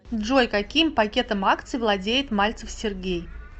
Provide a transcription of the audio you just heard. джой каким пакетом акций владеет мальцев сергей